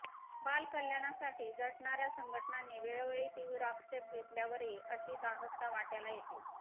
बालकल्याणासाठी झटणाऱ्या संघटनांनी वेळोवेळी तीव्र आक्षेप घेतल्यावरही अशी दाहकता वाट्याला येतेच